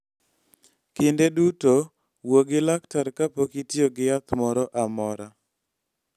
Kinde duto, wuo gi laktar kapok itiyo gi yath moro amora.